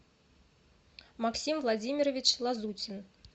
максим владимирович лазутин